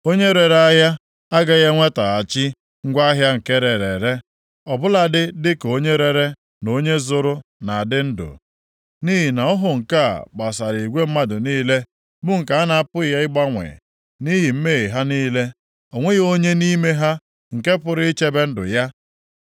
Onye rere ahịa agaghị enwetaghachi ngwa ahịa nke erere ere ọ bụladị dịka onye rere na onye zụrụ na-adị ndụ. Nʼihi na ọhụ nke a gbasara igwe mmadụ niile bụ nke a na-apụghị ịgbanwe. Nʼihi mmehie ha niile, o nweghị onye nʼime ha nke pụrụ ichebe ndụ ya.